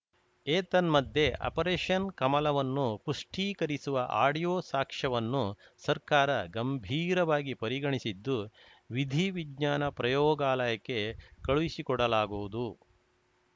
ಏತನ್ಮಧ್ಯೆ ಆಪರೇಷನ್‌ ಕಮಲವನ್ನು ಪುಷ್ಟೀಕರಿಸುವ ಆಡಿಯೋ ಸಾಕ್ಷ್ಯವನ್ನು ಸರ್ಕಾರ ಗಂಭೀರವಾಗಿ ಪರಿಗಣಿಸಿದ್ದು ವಿಧಿವಿಜ್ಞಾನ ಪ್ರಯೋಗಾಲಯಕ್ಕೆ ಕಳುಹಿಸಿಕೊಡಲಾಗುವುದು